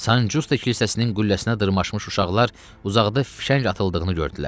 Sancosta kilsəsinin qülləsinə dırmaşmış uşaqlar uzaqda fişəng atıldığını gördülər.